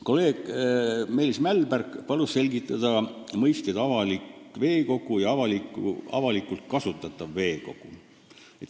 Kolleeg Meelis Mälberg palus selgitada mõisteid "avalik veekogu" ja "avalikult kasutatav veekogu".